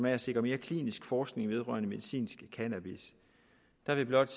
at sikre mere klinisk forskning vedrørende medicinsk cannabis vil jeg blot